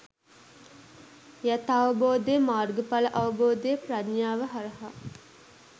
යථාවබෝධය, මාර්ගඵල අවබෝධය ප්‍රඥාව හරහා